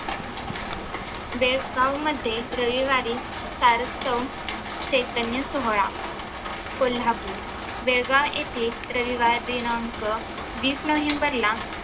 बेळगावमध्ये रविवारी सारस्वत चैतन्यसोहळा कोल्हापूर बेळगाव येथे रविवार दिनांक वीस नोव्हेंबर ला